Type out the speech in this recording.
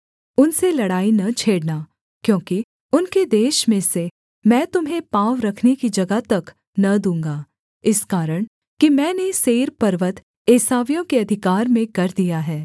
उनसे लड़ाई न छेड़ना क्योंकि उनके देश में से मैं तुम्हें पाँव रखने की जगह तक न दूँगा इस कारण कि मैंने सेईर पर्वत एसावियों के अधिकार में कर दिया है